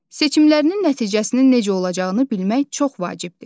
Seçimlərinin nəticəsinin necə olacağını bilmək çox vacibdir.